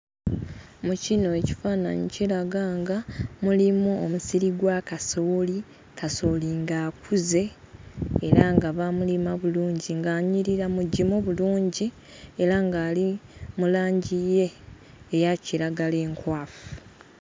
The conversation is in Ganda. Mu kino ekifaananyi kiraga nga mulimu omusiri gwa kasooli. Kasooli ng'akuze era nga baamulima bulungi, ng'anyirira mugimu bulungi era ng'ali mu langi ye eya kiragala enkwafu.